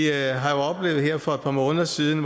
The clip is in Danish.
har her for et par måneder siden